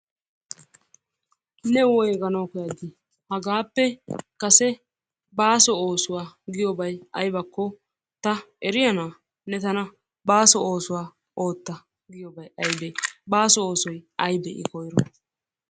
Ne woygganawu koyaddi? Hagaappe kasse baasso oosswaa goyobbay aybakk ta eriyaana? Ne tanna basso oosuwaa ootta giyobbay ayibbe? Baasso oosoy aybee i koyro?